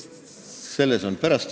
Selles on asi.